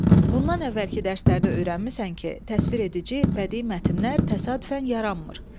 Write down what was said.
Bundan əvvəlki dərslərdə öyrənmisən ki, təsvir edici bədii mətnlər təsadüfən yaranmır.